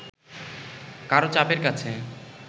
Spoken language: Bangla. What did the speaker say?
কারও চাপের কাছে